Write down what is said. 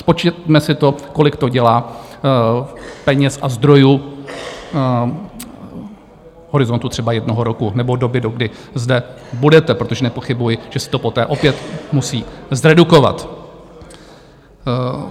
Spočtěme si to, kolik to dělá peněz a zdrojů v horizontu třeba jednoho roku nebo doby, dokdy zde budete, protože nepochybuji, že se to poté opět musí zredukovat.